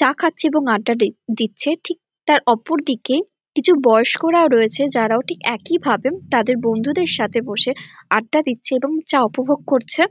চা খাচ্ছে এবং আড্ডা দি দিচ্ছে ঠিক তার অপরদিকে কিছু বয়স্করাও রয়েছে যারাও ঠিক একই ভাবে তাদের বন্ধুদের সাথে বসে আড্ডা দিচ্ছে এবং চা উপভোগ করছে।